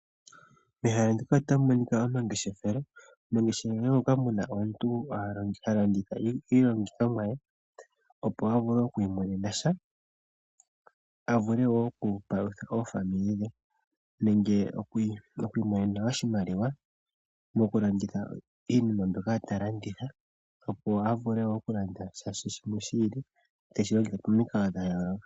Mehala ndika otamu monika omangeshefelo. Mu na ehala enene moka mu na omuntu ha landitha iilandithomwa ye, opo a vule oku imonena sha, a vule wo okupalutha aapambele ye nenge oku imonena oshimaliwa mokulanditha iinima mbyoka ta landitha, opo a vule wo okulanda sha shimwe shi ili teshi longitha pamikalo dha yooloka.